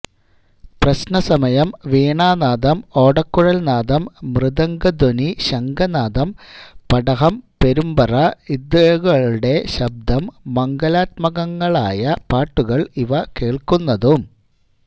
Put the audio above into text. പ്രശ്ന സമയം വീണാനാദം ഓടക്കുഴൽനാദം മൃദംഗധ്വനി ശംഖനാദം പടഹം പെരുമ്പറ ഇതുകളുടെ ശബ്ദം മംഗലാത്മകങ്ങളായ പാട്ടുകൾ ഇവ കേൾക്കുന്നതും